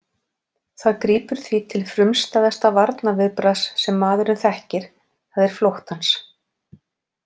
Það grípur því til frumstæðasta varnarviðbragðs sem maðurinn þekkir, það er flóttans.